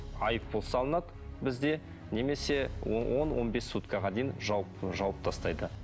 айыппұл салынады бізде немесе он он бес суткаға дейін жауып жауып тастайды